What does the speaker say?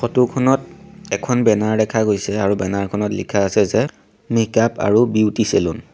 ফটোখনত এখন বেনাৰ দেখা গৈছে আৰু বেনাৰখনত লিখা আছে যে মিকাপ আৰু বিউটি চেলুন ।